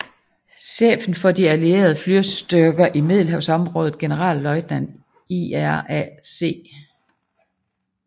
Chefen for de allierede flystyrker i Middelhavsområdet generalløjtnant Ira C